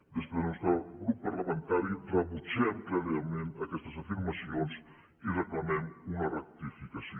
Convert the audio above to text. des del nostre grup parlamentari rebutgem cla rament aquestes afirmacions i reclamem una rectificació